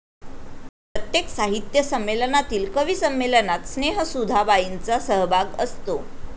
प्रत्येक साहित्य संमेलनातील कविसंमेलनात स्नेहसुधा बाईंचा सहभाग असतो